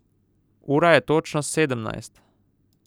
Ura je točno sedemnajst!